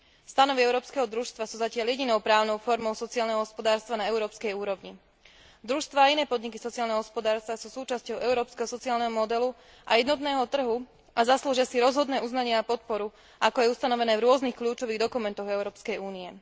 Stanovy európskeho družstva sú zatiaľ jedinou právnou formou sociálneho hospodárstva na európskej úrovni. Družstvá a iné podniky sociálneho hospodárstva sú súčasťou európskeho sociálneho modelu a jednotného trhu a zaslúžia si rozhodné uznanie a podporu, ako je ustanovené v rôznych kľúčových dokumentoch Európskej únie.